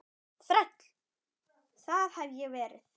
Þræll, það hef ég verið.